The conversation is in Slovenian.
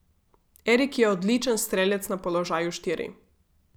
Erik je odličen strelec na položaju štiri.